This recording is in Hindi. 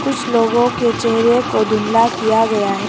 कुछ लोगों के चेहरे को धुंधला किया गया है।